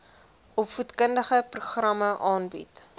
opvoedkundige programme aanbied